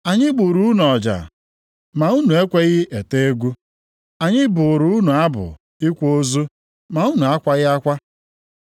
“ ‘Anyị gburu unu ọja, ma unu ekweghị ete egwu. Anyị bụụrụ unu abụ ịkwa ozu, ma unu akwaghị akwa.’